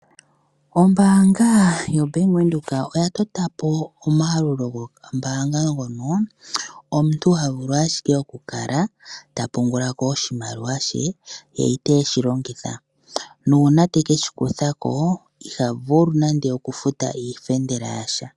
Oombanga yobank-Windhoek oya tota po omayalulo gombaanga ngono omuntu ha vulu ashike okukala ta pungula ko oshimaliwa she ye iteeshi longitha. Nuuna teke shi kutha ko iha vulu nando oku futa iifendela yasha.